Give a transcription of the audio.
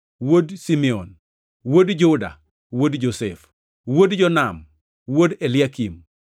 wuod Simeon, wuod Juda, wuod Josef, wuod Jonam, wuod Eliakim,